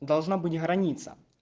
должна быть граница